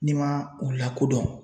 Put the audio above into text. N'i man u lakodɔn